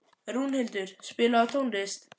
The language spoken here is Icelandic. Rúnhildur, spilaðu tónlist.